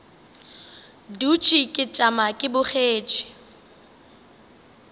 dutše ke tšama ke bogetše